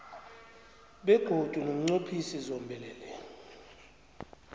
begodu nomnqophisi zombelele